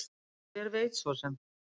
En hver veit svo sem?